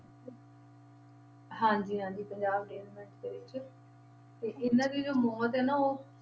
ਹਾਂਜੀ ਹਾਂਜੀ ਪੰਜਾਬ regiment ਦੇ ਵਿੱਚ ਤੇ ਇਹਨਾਂ ਦੀ ਜੋ ਮੌਤ ਹੈ ਨਾ ਉਹ